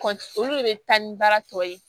olu de bɛ taa ni baara tɔ ye